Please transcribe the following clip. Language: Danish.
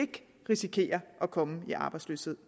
risikere at komme i arbejdsløshed